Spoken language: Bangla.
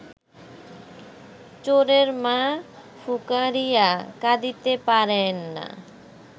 চোরের মা ফুকারিয়া কাঁদিতে পারে না